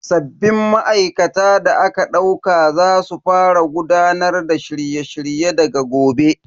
Sabbin ma'aikata da aka dauka za su fara gudanar da shirye shirye daga gobe.